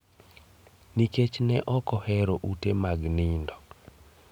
Nikech ne ok ohero ute mag nindo.